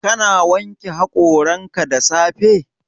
Ka na wanke haƙoranka da safe?